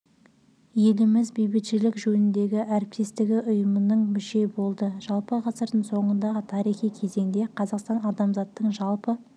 еліміз бейбітшілік жөніндегі әріптестігі ұйымының мүшесі болды жалпы ғасырдың соңындағы тарихи кезеңде қазақстан адамзаттың жалпы